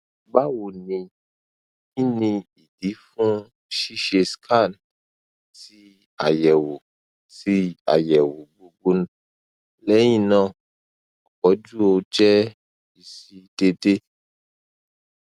bawo ni kini idi fun ṣiṣe scan ti ayẹwo ti ayẹwo gbogbo lẹhinna opoju o je isi dede